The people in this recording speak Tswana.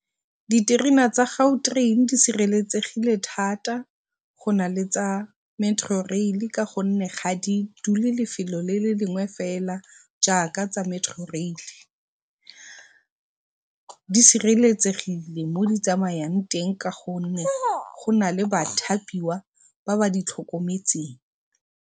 Diterena tsa Gautrain di sireletsegile thata go na le tsa Metrorail ka gonne ga di dule lefelo le le lengwe fela jaaka tsa Metrorail. Di sireletsegile ka gonne mo di tsamayang teng go nale bathapiwa ba ba di tlhokometseng.